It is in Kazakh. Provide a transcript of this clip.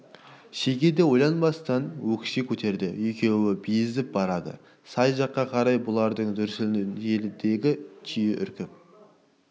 шеге де ойланбастан өкше көтерді екеуі безіп барады сай жаққа қарай бұлардың дүрсіліне желідегі түйе үркіп